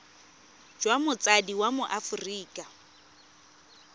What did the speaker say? jwa motsadi wa mo aforika